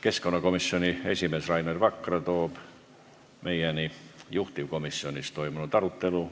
Keskkonnakomisjoni esimees Rainer Vakra toob meieni juhtivkomisjonis toimunud arutelu.